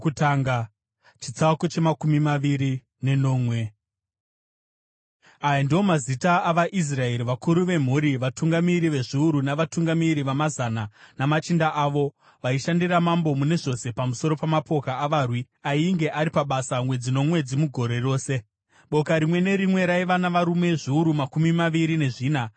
Aya ndiwo mazita avaIsraeri, vakuru vemhuri, vatungamiri vezviuru navatungamiri vamazana, namachinda avo, vaishandira mambo mune zvose pamusoro pamapoka avarwi ainge ari pabasa mwedzi nomwedzi mugore rose. Boka rimwe nerimwe raiva navarume zviuru makumi maviri nezvina.